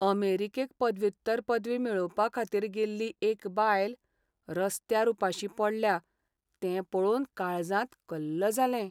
अमेरीकेक पदव्युत्तर पदवी मेळोवपा खातीर गेल्ली एक बायल रस्त्यार उपाशी पडल्या तें पळोवन काळजांत कल्ल जालें.